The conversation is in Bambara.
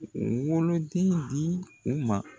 Woloden di u ma.